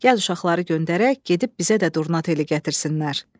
Gəl uşaqları göndərək, gedib bizə də durna teli gətirsinlər.